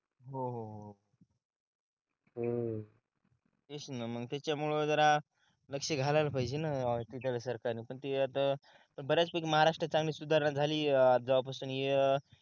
हम्म तेच ना मग त्याच्यामुळं जरा लक्ष घालायला पाहिजे ना तिथल्या सरकार ने पण ते आता बऱ्याच एक महाराष्ट्रात चांगली सुधारणा झालीये जेव्हा पासून हे अं